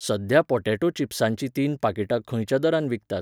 सध्या पॉटॅटो चिप्साचीं तीन पाकिटां खंयच्या दरान विकतात?